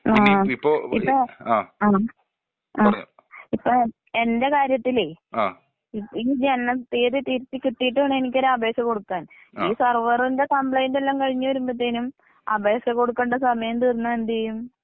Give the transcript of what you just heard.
ആ ഇപ്പൊ ആ ആ എന്റെ കാര്യത്തില് ഈ ജനന തീയ്യതി തിരുത്തികിട്ടീട്ട് വേണം എനിക്കൊരു അപേക്ഷ കൊടുക്കാൻ. ഈ സർവറിന്റെ കംപ്ലൈന്റ് എല്ലാം കഴിഞ്ഞ് വരുമ്പത്തേനും അപേക്ഷ കൊടുക്കേണ്ട സമയം തീർന്നാ എന്തീയ്യും?